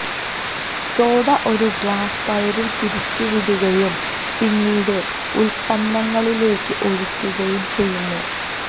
soda ഒരു glass തൈരിൽ പിരിച്ചുവിടുകയും പിന്നീട് ഉൽപ്പന്നങ്ങളിലേക്ക് ഒഴിക്കുകയും ചെയ്യുന്നു